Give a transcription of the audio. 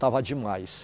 Estava demais.